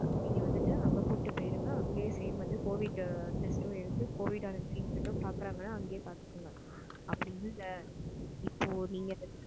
இங்க வந்துட்டு அங்க கூட்டிட்டு போயிருங்க, அங்கயே same வந்து covid test டும் எடுத்து covid treatment பன்றாங்கன்ன அங்கேயே பாருங்க. இல்ல அப்படி இல்லன்ன நீங்க எனக்கு,